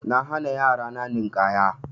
Na hana yara na Ninƙaya.